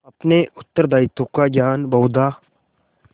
अपने उत्तरदायित्व का ज्ञान बहुधा